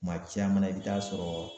Kuma caman na i bi taa sɔrɔ